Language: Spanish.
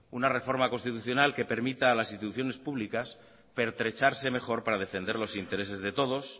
una reforma constitucional que permita a las instituciones públicas pertrecharse mejor para defender los intereses de todos